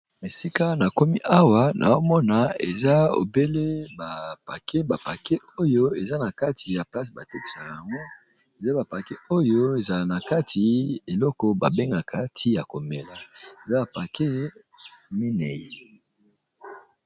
Esika na komi awa nao mona eza obele ba paquet, ba paquet oyo eza na kati ya place ba tekisaka yango eza ba paquet oyo ezala na kati eloko ba bengaka ti ya komela eza ba paquet mineyi.